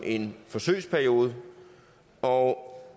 en forsøgsperiode og